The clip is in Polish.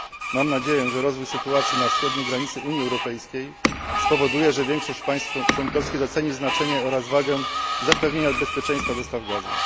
Mam nadzieję, że rozwój sytuacji na wschodniej granicy Unii Europejskiej spowoduje, że większość państw członkowskich doceni znaczenie oraz wagę zapewnienia bezpieczeństwa dostaw gazu.